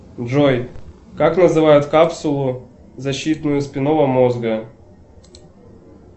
джой как называют капсулу защитную спинного мозга